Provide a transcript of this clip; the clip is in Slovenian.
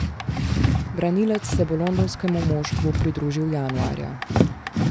Branilec se bo londonskemu moštvu pridružil januarja.